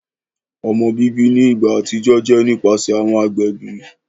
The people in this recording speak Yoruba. Ọmọ bibi ni igba atijọ jẹ nipasẹ awọn agbẹbi.